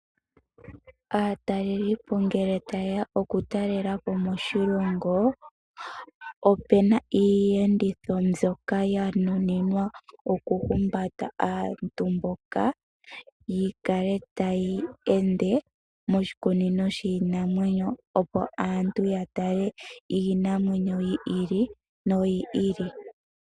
Aatalelipo ngele taye ya okutalela po moshilongo opu na iiyenditho mbyoka ya nuninwa okuhumbata aantu mboka ya kale taya ende moshikunino shiinamwenyo, opo aantu ya tale iinamwenyo yi ili noyi ili.